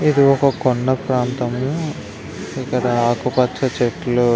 ఇదొక కొండ ప్రాంతము. ఇక్కడ ఆకుపచ్చ చెట్లు --